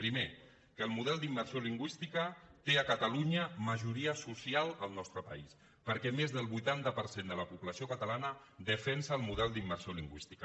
primer que el model d’immersió lingüística té a catalunya majoria social al nostre país perquè més del vuitanta per cent de la població catalana defensa el model d’immersió lingüística